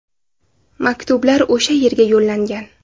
Maktublar o‘sha yerga yo‘llangan.